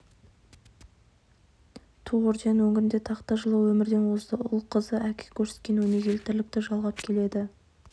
ту орденін өңіріне тақты жылы өмірден озды ұл қызы әке көрсеткен өнегелі тірлікті жалғап келеді